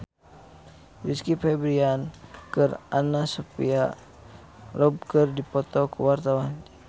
Rizky Febian jeung Anna Sophia Robb keur dipoto ku wartawan